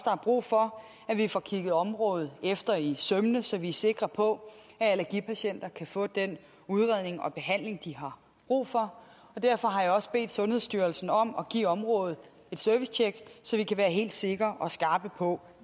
er brug for at vi får kigget området efter i sømmene så vi er sikre på at allergipatienter kan få den udredning og behandling de har brug for og derfor har jeg også bedt sundhedsstyrelsen om at give området et servicetjek så vi kan være helt sikre og skarpe på